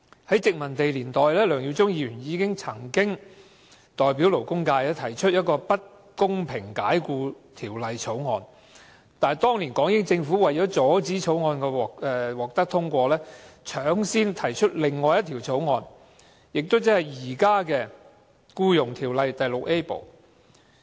在殖民地年代，梁耀忠議員曾代表勞工界提出《不公平解僱條例草案》，但當年港英政府為了阻止該法案獲得通過，搶先提出法例條文，即現時的《條例》第 VIA 部。